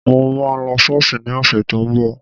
Mo máa lọ Ṣọ́ọ̀ṣì ní ọ̀sẹ̀ tó ń bọ̀